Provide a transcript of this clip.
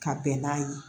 Ka bɛn n'a ye